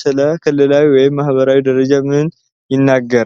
ስለ ክልላዊ ወይም ማኅበራዊ ደረጃ ምን ይነግረናል?